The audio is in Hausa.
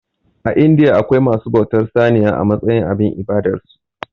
A indiya akwai masu bautar saniya a matsayin abin ibadar su